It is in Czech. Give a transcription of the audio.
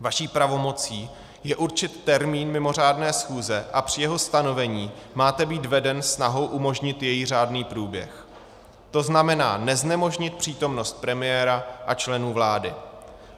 Vaší pravomocí je určit termín mimořádné schůze a při jeho stanovení máte být veden snahou umožnit její řádný průběh, to znamená neznemožnit přítomnost premiéra a členů vlády.